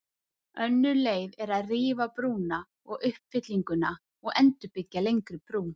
Önnur leið er að rífa brúna og uppfyllinguna og endurbyggja lengri brú.